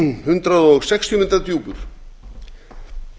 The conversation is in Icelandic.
hundrað sextíu metra djúpur meginbotninn í